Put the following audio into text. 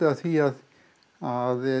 af því að